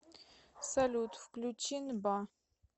салют включи нба